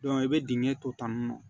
i bɛ dingɛ to tan